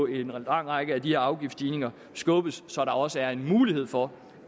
en lang række af de her afgiftsstigninger skubbes så der også er en mulighed for